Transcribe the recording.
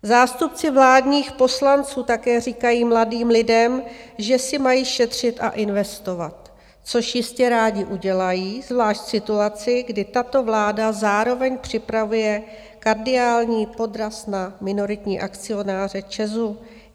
Zástupci vládních poslanců také říkají mladým lidem, že si mají šetřit a investovat, což jistě rádi udělají, zvlášť v situaci, kdy tato vláda zároveň připravuje kardiální podraz na minoritní akcionáře ČEZ.